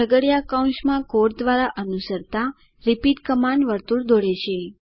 છગડીયા કૌંસ માં કોડ દ્વારા અનુસરતા રિપીટ કમાન્ડ વર્તુળ દોરે છે